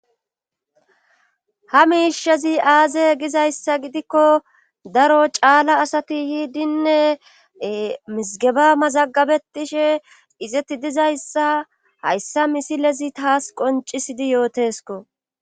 Ha miishezi aaze gizayssa gidikko daro caala asati yiidinne mizgeba mazagabetishe izetti dizayssa hayssa misilezi taas qoncisidi yootesko